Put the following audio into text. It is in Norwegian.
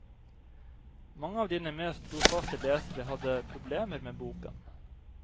Mange av dine mest trofaste lesere hadde problemer med boken.